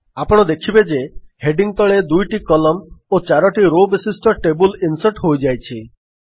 ଆପଣ ଦେଖିବେ ଯେ ହେଡିଙ୍ଗ୍ ତଳେ ଦୁଇଟି କଲମ୍ନ ଓ ଚାରୋଟି ରୋ ବିଶିଷ୍ଟ ଟେବଲ୍ ଇନ୍ସର୍ଟ ହୋଇଯାଇଛି